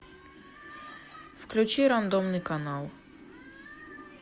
включи рандомный канал